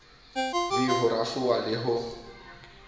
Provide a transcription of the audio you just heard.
v ho rafoha le ho